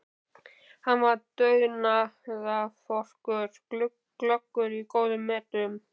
Hann var dugnaðarforkur, glöggur og í góðum metum.